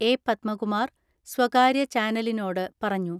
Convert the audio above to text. A. Padmakumar സ്വകാര്യ ചാനലിനോട് പറഞ്ഞു.